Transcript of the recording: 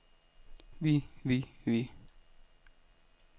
vi vi vi